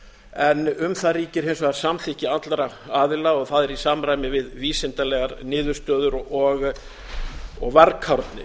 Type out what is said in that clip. en um það ríkir hins vegar samþykki allra aðila og það er í samræmi við vísindalegar niðurstöður og varkárni